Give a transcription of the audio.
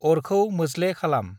अरखौ मोज्ले खालाम।